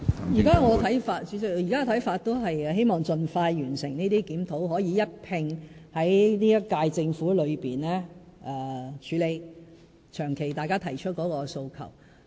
主席，我現時的看法仍然是希望盡快完成這些檢討，可以一併在本屆政府內處理大家長期提出的訴求。